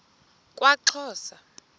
kwaxhosa